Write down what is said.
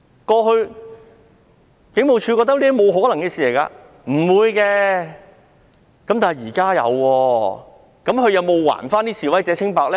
過去警務處覺得這是沒可能發生的，但現在發生了，他們有否還示威者清白呢？